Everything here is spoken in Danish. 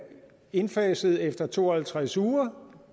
indfaset efter to og halvtreds uger